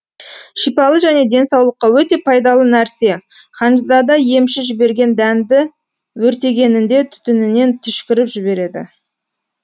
шипалы және денсаулыққа өте пайдалы нәрсе ханзада емші жіберген дәнді өртегенінде түтүнінен түшкіріп жібереді